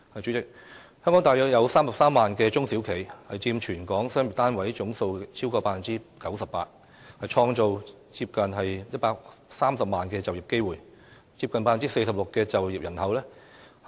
主席，香港大約有33萬家中小企，佔全港商業單位總數超過 98%， 創造接近130萬就業機會，接近 46% 就業人口。